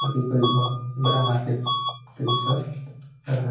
ये भी कोई बोहत बड़ा मार्किट लग रहा --